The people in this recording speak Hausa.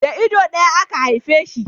Da ido daya aka haife shi